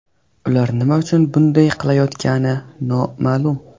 Ular nima uchun bunday qilayotgani noma’lum.